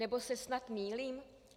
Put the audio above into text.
Nebo se snad mýlím?